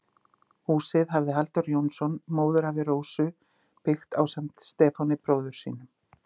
Húsið hafði Halldór Jónsson, móðurafi Rósu, byggt ásamt Stefáni, bróður sínum.